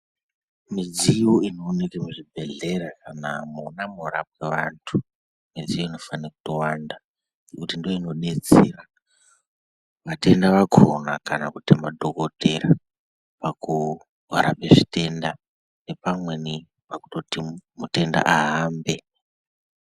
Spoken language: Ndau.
Midziyo inoonekwa muzvibhehlera kana mona munorapwe antu ,midziyo inofana kutowanda nekuti ndiyo inodetsera vatenda wakona kana kuti madhokoteya ,vakowo varapi vezvitenda nepamweni pakutoti mutenda ahambe.